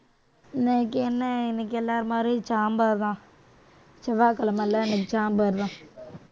இன்னைக்கு என்ன இன்னைக்கு எல்லார் மாதிரியும் சாம்பார்தான் செவ்வாய்கிழமைல இன்னைக்கு சாம்பார்தான்